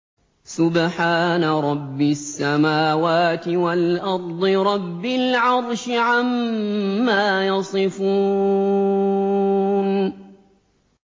سُبْحَانَ رَبِّ السَّمَاوَاتِ وَالْأَرْضِ رَبِّ الْعَرْشِ عَمَّا يَصِفُونَ